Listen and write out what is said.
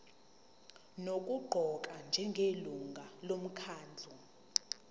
nokuqokwa njengelungu lomkhandlu